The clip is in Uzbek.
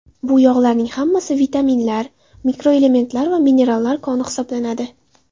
Bu yog‘larning hammasi vitaminlar, mikroelementlar va minerallar koni hisoblanadi.